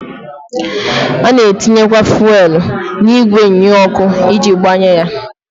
A na-etinyekwa fụelụ n'igwe nnyeọkụ iji gbanye ya.